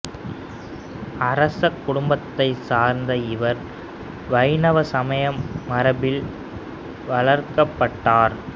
அரச குடும்பத்தைச் சார்ந்த இவர் வைணவ சமய மரபில் வளர்க்கப்பட்டார்